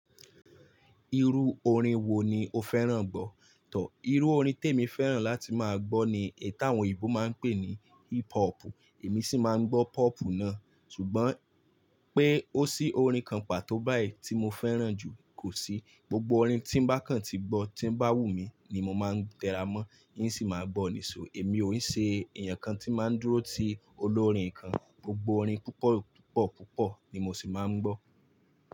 Irú orin wo ni o fẹ́ràn gbọ́? Tọ̀, irú orin tí èmi fẹ́ràn láti máa gbọ́ ni ètà àwọn òyìnbó máa ń pè ní hip hop, èmi sì máa ń gbọ́ pop náà. Ṣùgbọ́n pé ó sí orin kan pàtó báyìí tí mo fẹ́ràn jù kò sí. Gbogbo orin tí ń bá kàn tí gbọ́ tí ń bá wù mí ni mo máa ń tẹra mọ́, yín sì máa gbọ́ nísò. Èmi ò ṣe èèyàn kan tí máa ń dúró sí olórin kan. Gbogbo orin púpọ̀ púpọ̀ púpọ̀ ni mo sì máa ń gbọ́.